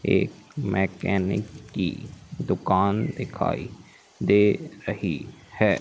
एक मैकेनिक की दुकान दिखाई दे रही है।